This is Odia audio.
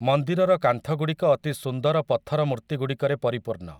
ମନ୍ଦିରର କାନ୍ଥଗୁଡ଼ିକ ଅତି ସୁନ୍ଦର ପଥର ମୂର୍ତ୍ତିଗୁଡ଼ିକରେ ପରିପୂର୍ଣ୍ଣ ।